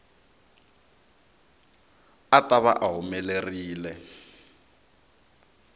a ta va a humelerile